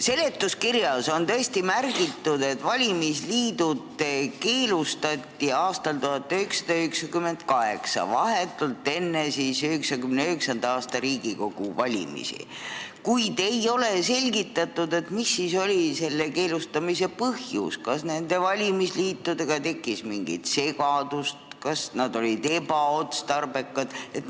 Seletuskirjas on tõesti märgitud, et valimisliidud keelustati aastal 1998, vahetult enne 1999. aasta Riigikogu valimisi, kuid ei ole selgitatud, mis oli selle keelustamise põhjus, kas valimisliitudega tekkis mingi segadus, kas nad olid ebaotstarbekad.